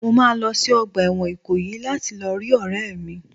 Mo máa lọ sí ọgbà ẹ̀wọ̀n Ikoyi láti lọ rí ọ̀rẹ́ mi.